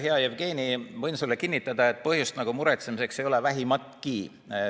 Hea Jevgeni, ma võin sulle kinnitada, et põhjust muretsemiseks ei ole vähimatki.